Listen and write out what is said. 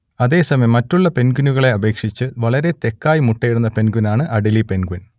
അതേസമയം മറ്റുള്ള പെൻഗ്വിനുകളെ അപേക്ഷിച്ച് വളരെ തെക്കായി മുട്ടയിടുന്ന പെൻഗ്വിനാണ് അഡേലി പെൻഗ്വിൻ